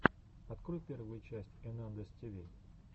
открой первую часть энандэс тиви